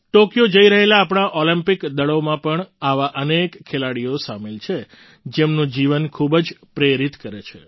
Tokyo જઈ રહેલા આપણા ઑલિમ્પિગક દળોમાં પણ આવા અનેક ખેલાડીઓ સામેલ છે જેમનું જીવન ખૂબ જ પ્રેરિત કરે છે